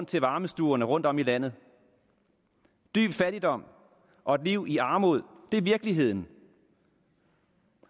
til varmestuerne rundtom i landet dyb fattigdom og et liv i armod er virkeligheden